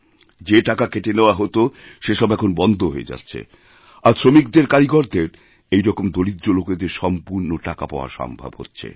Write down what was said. যে টাকাকেটে নেওয়া হত সেসব এখন বন্ধ হয়ে যাচ্ছে আর শ্রমিকদের কারিগরদের এই রকম দরিদ্রলোকেদের সম্পূর্ণ টাকা পাওয়া সম্ভব হচ্ছে